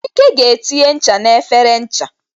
Ike ga etinye ncha n'efere ncha.